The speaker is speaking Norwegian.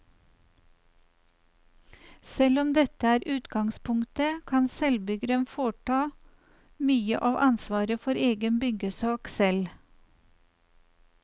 Selv om dette er utgangspunktet, kan selvbyggeren fortsatt ta mye av ansvaret for egen byggesak selv.